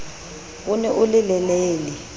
o ne o le lelele